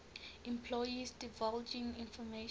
employees divulging information